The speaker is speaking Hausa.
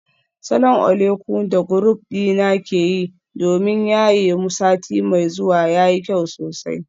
Salon oleku da group dina ke yi domin yaye mu sati mai zuwa yayi kyau sosai.